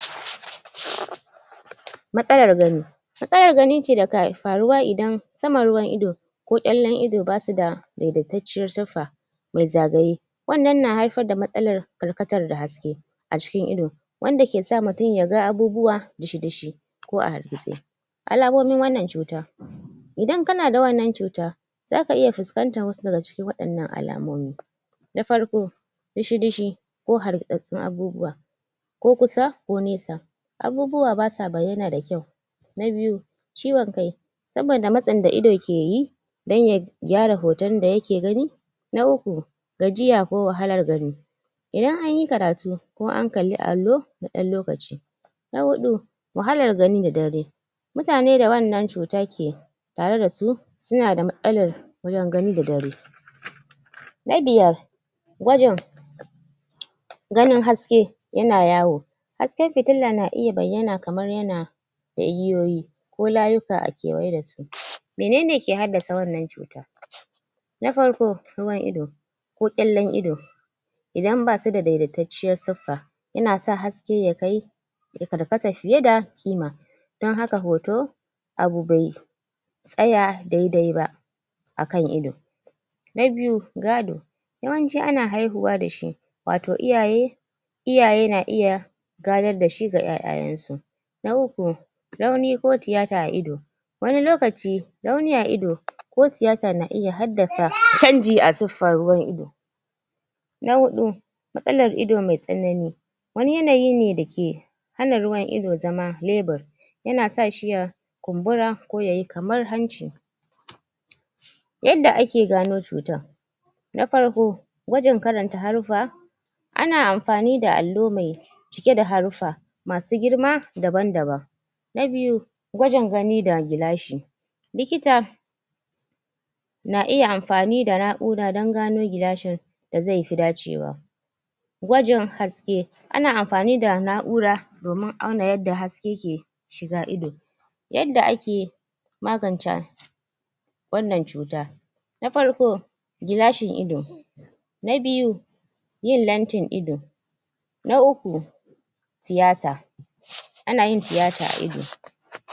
Matsalar gani matsalar gani ce dake faruwa idan saman ruwan ido ko kyallen ido basuda wadatacciyar sifa mai zagaye wannan na haifar da matsalar karkatar da haske a cikin ido. wanda kesa mutum yaga abubuwa dishidishi. ko a hargitse alamomin wannan cuta idan kana da wannan cuta zaka iya fuskantar wasu daga cikin waɗannan alamomi na farko dishidishi ko hargitsatsun abubuwa ko kusa ko nesa abubuwa basa bayyana da kyau. na biyu ciwon kai saboda matsin daido keyi dan ya gyara hoton da yake gani. na uku gajiya ko wahalar gani idan anyi karatu ko an kalli allo na na ɗan lokaci. na huɗu wahalar gani da dare mutane da wannan cuta ke tareda su suna da matsalar yin gani da dare. na biyar gwajin ganin haske yana yawo hasken fitila na iya bayyana kamar yana da igiyoyi ko layuka a kewaye da su. Menene ke haddasa wannan cuta na farko ruwan ido ko kyallen ido idan basuda daidaitacciyar siffa yana sa haske ya kai ya karkata fiye da kima don haka hoto abu bai tsaya dai-dai ba akan ido. Na biyu gado yawanci ana haihuwa dashi wato iyaye iyaye na iya gadar dashi ga ƴaƴayen su. Na uku rauni ko tiyata a ido wani lokaci rauni a ido ko tiyata na iya haddasa canji a suffar ruwan ido. Na huɗu matsalar ido mai tsanani wani yanayi ne dake hana ruwan ido zama level yana sashi ya kumbura ko yayi kamar hanci yadda ake gano cutar na farko gwajin karanta haruffa ana amfani da allo mai cike da haruffa masu girma daban-daban. Na biyu gwajin gani da gilashi likita na iya amfani da na'ura don gano gilashin da zaifi dacewa gwajin haske ana amfani da na'ura domin auna yadda haske ke shiga ido yadda ake magance wannan cuta na farko gilashin ido na biyu yin lantin ido na uku tiyata ana yin tiyata a ido